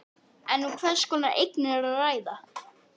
En um hvers konar eignir er að ræða?